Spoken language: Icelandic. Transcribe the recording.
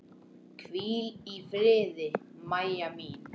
Hvíl í friði, Mæja mín.